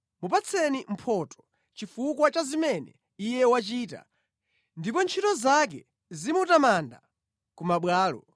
Mupatseni mphotho chifukwa cha zimene iye wachita ndipo ntchito zake zimutamande ku mabwalo.